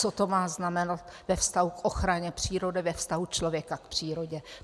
Co to má znamenat ve vztahu k ochraně přírody, ve vztahu člověka k přírodě?